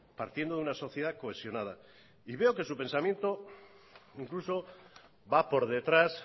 partiendo de una sociedad cohesionada y veo que su pensamiento incluso va por detrás